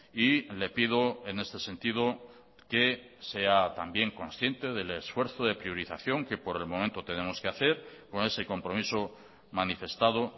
y le pido en este sentido que sea también consciente del esfuerzo de priorización que por el momento tenemos que hacer con ese compromiso manifestado